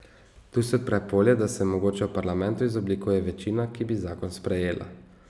Tu se odpre polje, da se mogoče v parlamentu izoblikuje večina, ki bi zakon sprejela.